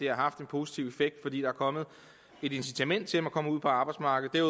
har haft en positiv effekt fordi der er kommet et incitament til at man er kommet ud på arbejdsmarkedet